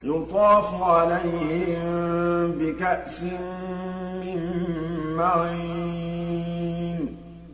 يُطَافُ عَلَيْهِم بِكَأْسٍ مِّن مَّعِينٍ